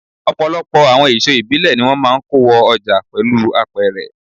Ọ̀pọ̀lọpọ̀ àwọn èso ìbílẹ̀ ni wón máa ń kó wo ọjà pẹ̀lú apẹ̀rẹ̀.